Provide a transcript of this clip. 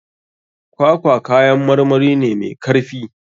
Kwakwa kayan marmari ne mai karfi.